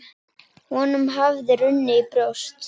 Honum hafði runnið í brjóst.